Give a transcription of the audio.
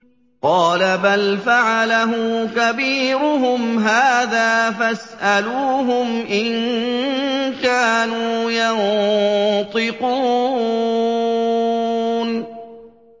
قَالَ بَلْ فَعَلَهُ كَبِيرُهُمْ هَٰذَا فَاسْأَلُوهُمْ إِن كَانُوا يَنطِقُونَ